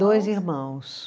Dois irmãos.